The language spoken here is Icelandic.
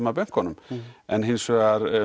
að bönkunum en hins vegar